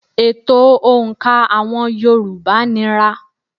Ètò òǹkà àwọn yorùbá nira.